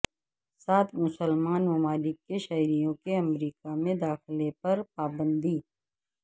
سات مسلمان ممالک کے شہریوں کے امریکا میں داخلے پر پابندی